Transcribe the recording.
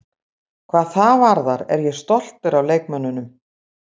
Hvað það varðar er ég stoltur af leikmönnunum.